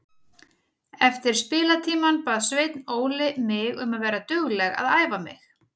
Eftir spilatímann bað Sveinn Óli mig um að vera dugleg að æfa mig.